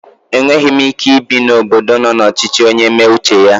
Enweghi m Ike ibi n'obodo nọ na ọchichi onye mee uche ya